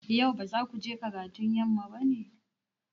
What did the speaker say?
Yau ba za ku je karatun yamma ba ne?